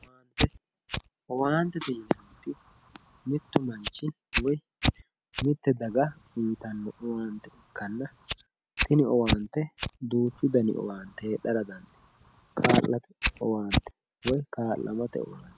owaantete yinanniti mittu manchi woyi mitte daga uyiitanno ikkitanna tini owaante duuchu daniti heedhara dandiitanno kaa'lamote owaante